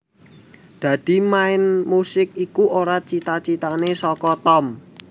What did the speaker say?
Dadi main musik iku ora cita citane saka Tom